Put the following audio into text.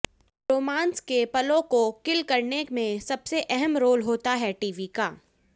romance के पलों को किल करने में सबसे अहम रोल होता है टीवी का